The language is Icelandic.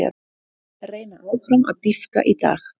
Reyna áfram að dýpka í dag